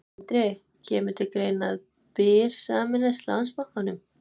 Sindri: Kemur til greina að Byr sameinist Landsbankanum?